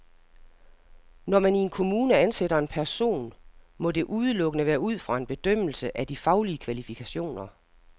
Når man i en kommune ansætter en person, må det udelukkende være ud fra en bedømmelse af de faglige kvalifikationer.